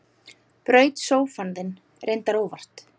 Braut sófann þinn, reyndar óvart.